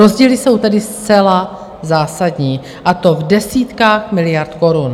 Rozdíly jsou tedy zcela zásadní, a to v desítkách miliard korun.